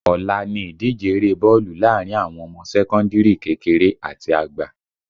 Ọ̀la ni ìdíje eré bọ́ọ̀lù láàrin àwọn ọmọ sẹ́kọ́ndìrì kékeré àti àgbà